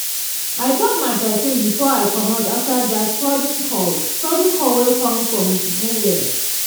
i top my perfume before i comot after that sudden call sudden call wey come from nowhere.